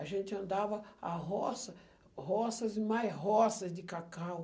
A gente andava a roça, roças e mais roças de cacau.